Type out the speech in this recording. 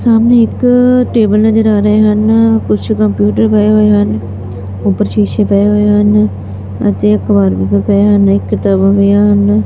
ਸਾਹਮਣੇ ਇੱਕ ਟੇਬਲ ਨਜ਼ਰ ਆ ਰਹੇ ਹਨ ਕੁਛ ਕੰਪਿਊਟਰ ਪਏ ਹੋਏ ਹਨ ਉਪਰ ਸ਼ੀਸ਼ੇ ਪਏ ਹੋਏ ਹਨ ਅਤੇ ਅਖਬਾਰ ਵੀ ਪਏ ਹਨ ਇੱਕ ਕਿਤਾਬਾਂ ਪਈਆਂ ਹਨ।